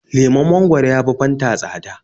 Lemon mangwaro ya fi Fanta tsada.